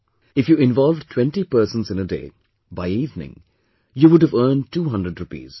If you involve twenty persons in a day, by evening, you would've earned two hundred rupees